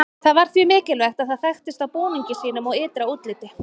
það var því mikilvægt að það þekktist á búningi sínum og ytra útliti